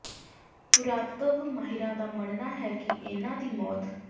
ਪੁਰਾਤੱਤਵ ਮਾਹਿਰਾਂ ਦਾ ਮੰਨਣਾ ਹੈ ਕਿ ਇਨ੍ਹਾਂ ਦੀ ਮੌਤ